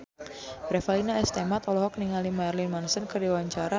Revalina S. Temat olohok ningali Marilyn Manson keur diwawancara